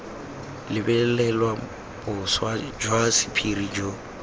lebelelwa boswa jwa sephiri jo